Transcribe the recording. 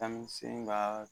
Witamini s ka